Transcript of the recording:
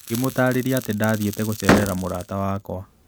Ngĩmũtaarĩria atĩ ndathiĩte gũceerera mũrata wakwa